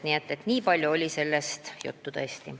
Nii et nii palju oli sellest teemast juttu tõesti.